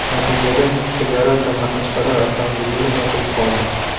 Natijada TlyarataMaxachqal’a avtomobil yo‘li yopilib qoldi.